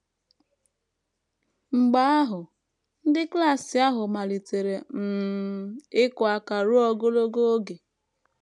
Mgbe ahụ, ndị klas ahụ malitere um ịkụ aka ruo ogologo oge.